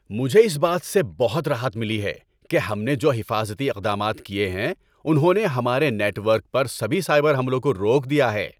مجھے اس بات سے بہت راحت ملی ہے کہ ہم نے جو حفاظتی اقدامات کیے ہیں انہوں نے ہمارے نیٹ ورک پر سبھی سائبر حملوں کو روک دیا ہے۔